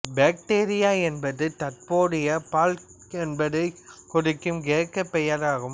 bacteria என்பது தற்போதைய பால்க் என்பதைக் குறிக்கும் கிரேக்கப் பெயராகும்